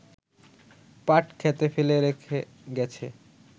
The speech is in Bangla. পাটক্ষেতে ফেলে রেখে গেছে